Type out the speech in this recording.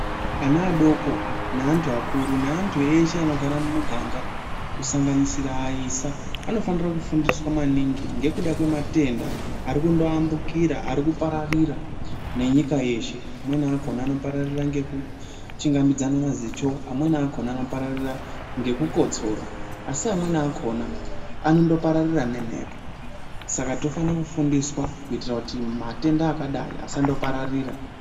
Ana adoko neantu akuru neantu ese anogara mumuganga kusanganisira ayisa anofanira kufundiswa maningi nekuda kwematenda arikutoambukira arikuparira nenyika yeshe amweni akona anopararira ngekuchungamidzana mazicho. Amweni akona anoparararia ngekukotsora asi amwenini akona anopararira nemhepo. Saka tinofana kufundiswa kuitirakuti matenda akadai asandopararira